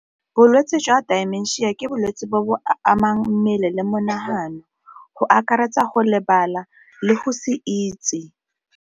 Bolwetse jwa dimensia ke bolwetse bo bo amang mmele le monagano go akaretsa go lebala le go se itse.